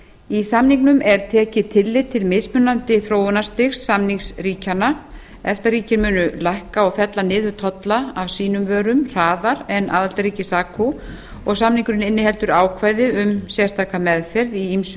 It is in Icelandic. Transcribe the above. í samningnum er tekið tillit til mismunandi þróunarstigs samningsríkjanna efta ríkin munu lækka og fella niður tolla af sínum vörum hraðar en aðildarríkið sacu og samningurinn inniheldur ákvæði um sérstaka meðferð í ýmsu